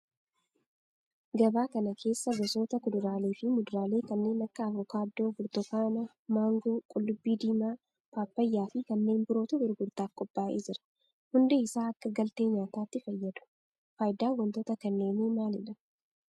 Gabaa kana keessa gosoota kuduraalee fi muduraalee kanneen akka avokaadoo, burtukaana, maangoo, qullubbii diimaa, paappayyaa fi kanneen birootu gurgurtaaf qophaa'ee jira. Hundi isaa akka galtee nyaatatti fayyadu. Faayidan wantoota kanneenii maalidha?